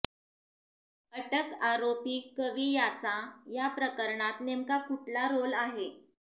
अटक आरोपी कवी याचा या प्रकरणात नेमका कुठला रोल आहे